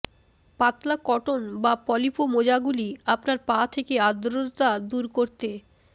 পাতলা কটন বা পলিপো মোজাগুলি আপনার পা থেকে আর্দ্রতা দূর করতে